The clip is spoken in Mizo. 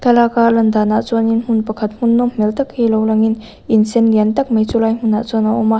thlalak a lian danah chuan in hmun pakhat hmun nawm hmel tak hi lo lang in in sen lian tak mai chulai hmunah chuan a awm a.